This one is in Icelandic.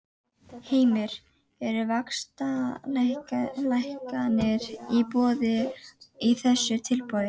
Heimir: Eru vaxtalækkanir í boði í þessu tilboði?